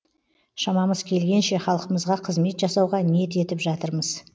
шамамыз келгенше халқымызға қызмет жасауға ниет етіп жатырмыз